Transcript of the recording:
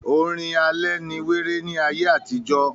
orin alẹ́ ni wéré ní ayé àtijọ́.